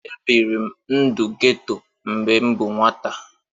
Ebiri m ndụ geto mgbe m bụ nwata